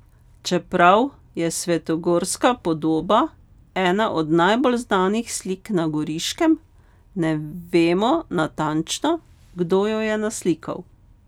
Čeprav je svetogorska podoba ena od najbolj znanih slik na Goriškem, ne vemo natančno, kdo jo je naslikal.